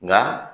Nka